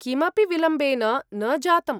किमपि विलम्बेन न जातम्।